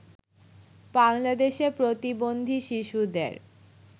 বাংলাদেশে প্রতিবন্ধী শিশুদের